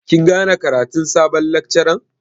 Kin gane ƙaratun sabon lakcaran?